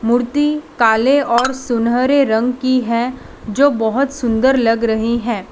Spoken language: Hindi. मूर्ति काले और सुनहरे रंग की है जो बहोत सुंदर लग रही है।